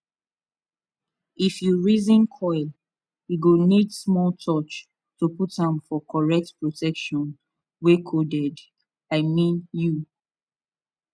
if you reason coil e go need small touch to put am for correct protection wey coded i mean u